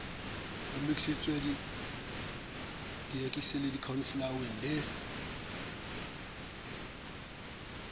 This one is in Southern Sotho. omisitsweng le dierekisi cauliflower le